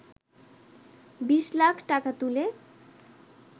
বিশ লাখ টাকা তুলে